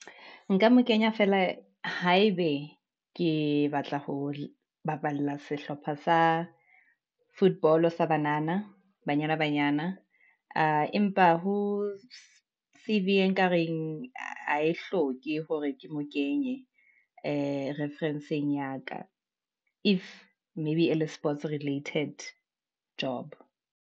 Nka mo kenya feela haebe ke batla ho baballa sehlopha sa football sa banana banyana banyana. Aa, empa ho ekareng ha e hloke hore ke mo kenye, reference-eng ya ka, if maybe ele sports related job.